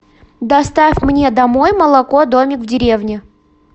доставь мне домой молоко домик в деревне